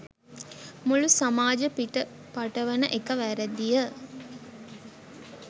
මුළු සමාජ පිට පටවන එක වැරදිය